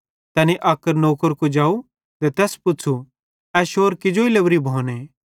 तैनी अक नौकर कुजाव ते तैस पुच़्छ़ू ए शौर कीजेई लोरी भोने